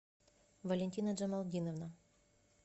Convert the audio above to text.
валентина джамалдиновна